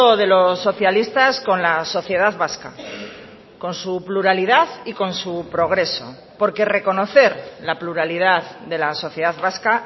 de los socialistas con la sociedad vasca con su pluralidad y con su progreso porque reconocer la pluralidad de la sociedad vasca